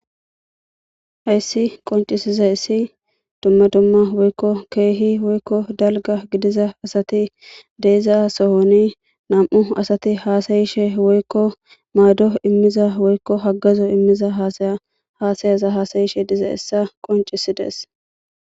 hayssi qoncisiza issi dumma dumma woykko keehi woykko dalga gidiza asati deiza sohoni nam7u asati haasayishe woykko maado immiza woykko hagazo immiza yhaasayaza haasayishe diza hessa qoncisides